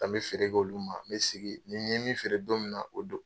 O de la n bɛ feere k'olu ma n bɛ sigi ni n ye min feere don min na o don.